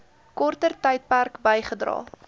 korter tydperk bygedra